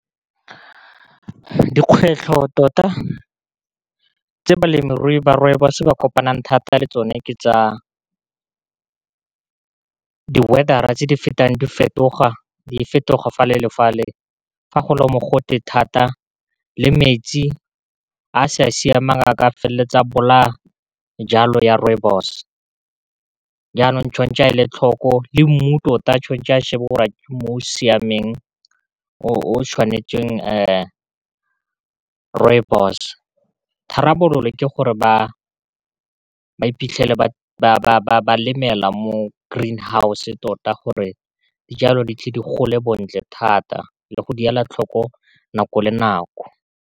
Dikgwetlho tota tse balemirui ba rooibos-o ba kopanang thata le tsone ke tsa di-weather tse di fetoga, di fetoga fa le le fa le, fa go le mogote thata le metsi a sa siamang a ka feleletsa bolaya jalo ya rooibos, jaanong tshwantse a e le tlhoko le mmu tota tshwanetse a shebe gore ke mmu o siameng o tshwanetsweng, rooibos, tharabololo ke gore ba iphitlhele ba lemela mo green house tota gore dijalo di tle di gole bontle thata, le go di ela tlhoko nako le nako.